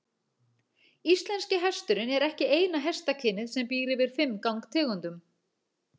Íslenski hesturinn er ekki eina hestakynið sem býr yfir fimm gangtegundum.